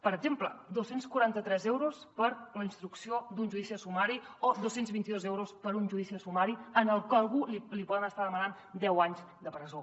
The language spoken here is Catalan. per exemple dos cents i quaranta tres euros per la instrucció d’un judici sumari o dos cents i vint dos euros per un judici sumari en el que a algú li poden estar demanant deu anys de presó